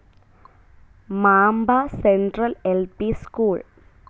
Mamba central L. P. School.